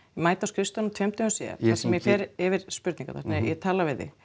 mæti á skrifstofuna tveimur dögum síðar þar sem ég fer yfir spurningarnar nei ég tala við þig